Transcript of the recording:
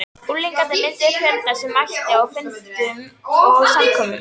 Unglingarnir mynduðu fjöldann sem mætti á fundum og samkomum.